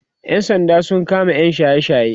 ƴan sanda sun kama yam shaye shaye